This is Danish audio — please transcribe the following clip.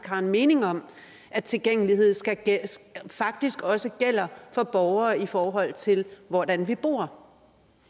har en mening om at tilgængelighed faktisk også gælder for borgere i forhold til hvordan vi bor